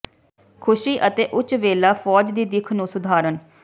ਖ਼ੁਸ਼ੀ ਅਤੇ ਉੱਚ ਵੇਲਾ ਫ਼ੌਜ ਦੀ ਦਿੱਖ ਨੂੰ ਸੁਧਾਰਨ